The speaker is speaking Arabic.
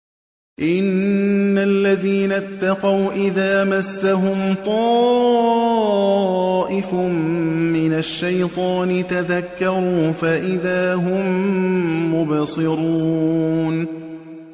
إِنَّ الَّذِينَ اتَّقَوْا إِذَا مَسَّهُمْ طَائِفٌ مِّنَ الشَّيْطَانِ تَذَكَّرُوا فَإِذَا هُم مُّبْصِرُونَ